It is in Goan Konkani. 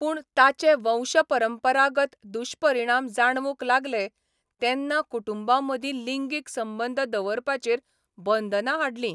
पूण ताचे वंशपरंपरागत दुश्परिणाम जाणवूंक लागले तेन्ना कुटुंबां मदीं लिंगीक संबंद दवरपाचेर बंदनां हाडली.